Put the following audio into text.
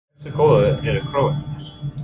Hversu góðir eru Króatarnir?